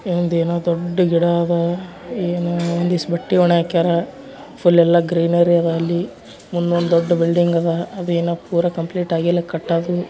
ಇದು ಏನೋ ದೊಡ್ಡ ಗಿಡ ಅದಾವ ಒಂದಿಷ್ಟ್ ಬಟ್ಟೆ ಒಣ ಒಣಗ್ಯಾಕರ ಫುಲ್ ಎಲ್ಲ ಗ್ರೀನರಿ ಅದ ಅಲ್ಲಿ ಮುಂದುವಾನ್ ದೊಡ್ಡ ಬಿಲ್ಡಿಂಗ್ ಅದು ಇನ್ನಾ ಪೂರ ಕಂಪ್ಲಿಟ್ ಆಗಿಲ್ಲ ಕಟ್ಟದ.